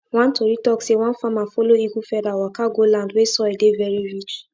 one tori talk say one farmer follow eagle feather waka go land wey soil dey very rich